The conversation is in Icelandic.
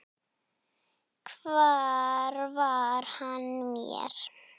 Hver var hann mér?